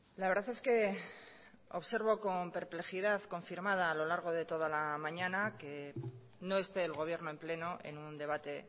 la verdad es que observo con perplejidad confirmada a lo largo de toda la mañana que no esté el gobierno en pleno en un debate